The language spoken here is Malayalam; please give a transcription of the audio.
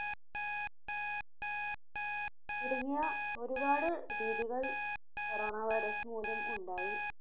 തുടങ്ങിയ ഒരുപാട് രീതികൾ Corona virus മൂലം ഉണ്ടായി.